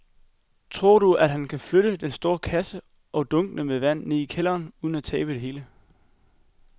Tror du, at han kan flytte den store kasse og dunkene med vand ned i kælderen uden at tabe det hele?